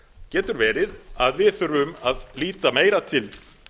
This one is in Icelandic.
getur verið að við þurfum að líta meira til